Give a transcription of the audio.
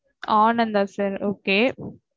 ஆனந்த ஆஹ் sir okay